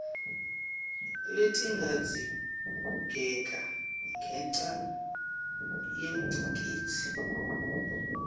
letingadzingeka ngenca yengcikitsi